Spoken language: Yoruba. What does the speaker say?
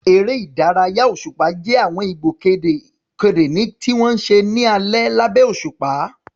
Eré ìdárayá òṣùpá jẹ́ àwọn ìgbòkègbodò ìta tí wọ́n ń ṣe ní alẹ́ lábẹ́ òṣùpá.